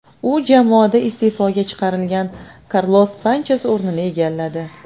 U jamoada iste’foga chiqarilgan Karlos Sanches o‘rinini egalladi.